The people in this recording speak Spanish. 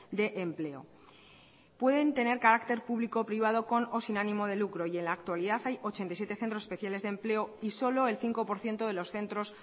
de empleo pueden tener carácter público o privado con o sin ánimo de lucro y en la actualidad hay ochenta y siete centros especiales de empleo y solo el cinco por ciento de los centros